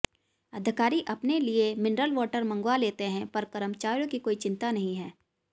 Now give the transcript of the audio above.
अधिकारी अपने लिये मिनरल वाटर मंगवा लेते हैं पर कर्मचारियों की कोई चिंता नहीं है